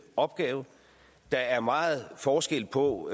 opgave der er meget forskel på